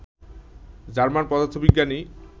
German পদার্থবিজ্ঞানী